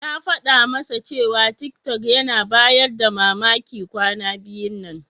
Na faɗa masa cewa tiktok yana bayar da mamaki kwana biyun nan.